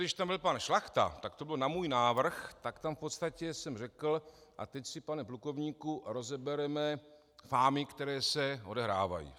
Když tam byl pan Šlachta, tak to bylo na můj návrh, tak tam v podstatě jsem řekl: a teď si, pane plukovníku, rozebereme fámy, které se odehrávají.